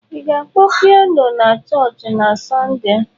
Ị ga-akpọ pianọ na chọọchị na Sọnde.